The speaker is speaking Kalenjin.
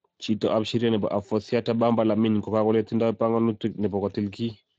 Chito ab sheria nebo Affoussiata Bamba Lamine, kokale tindo panganut nebo kotil kiy.